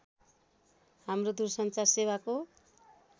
हाम्रो दूरसञ्चार सेवाको